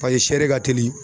Paseke sɛ de ka telin.